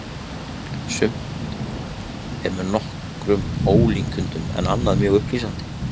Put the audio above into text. Sumt er með nokkrum ólíkindum en annað mjög upplýsandi.